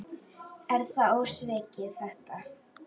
Er það ósvikið þetta?